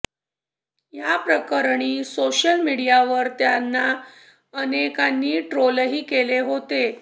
या प्रकरणी सोशल मीडियावर त्यांना अनेकांनी ट्रोलही केले होते